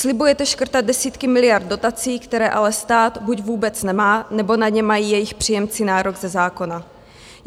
Slibujete škrtat desítky miliard dotací, které ale stát buď vůbec nemá, nebo na ně mají jejich příjemci nárok ze zákona.